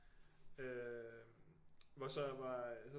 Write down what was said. Øh hvor så var